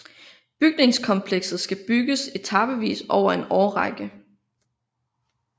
Bygningskomplekset skal bygges etapevis over en årrække